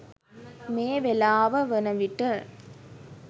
මේ වේලාව වන විට